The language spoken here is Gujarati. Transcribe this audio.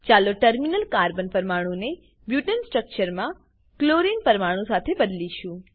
ચાલો ટર્મિનલ કાર્બન પરમાણું ને બુટને સ્ટ્રક્ચરમાં ક્લોરીન પરમાણું સાથે બદલીશું